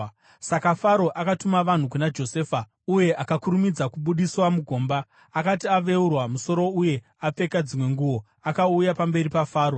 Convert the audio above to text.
Saka Faro akatuma vanhu kuna Josefa, uye akakurumidza kubudiswa mugomba. Akati aveurwa musoro uye apfeka dzimwe nguo, akauya pamberi paFaro.